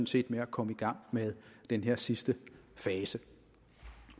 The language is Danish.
set med at komme i gang med den her sidste fase